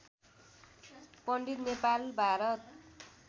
Pandit Nepal Bharat